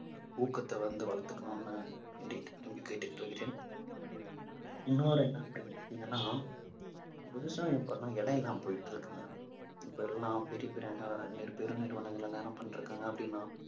ஊக்கத்தை வந்து வளர்த்துக்கணும்னு விரும்பி கேட்டுக் கொள்கிறேன். இன்னொரு என்ன அப்பிடின்னா விவசாயம் பண்ண இடமில்லாம போயிட்டு இருக்குங்க. இப்பெல்லாம் பெரிய பெரிய அஹ் பெரு நிறுவனங்கள் எல்லாம் என்ன பண்ணிட்டிருக்காங்க அப்பிடின்னா